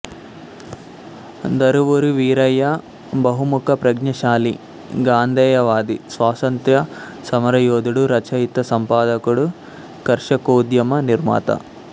దరువూరి వీరయ్య బహుముఖ ప్రజ్ఞాశాలి గాంధేయవాది స్వాతంత్య్ర సమర యోధుడు రచయిత సంపాదకుడు కర్షకోద్యమ నిర్మాత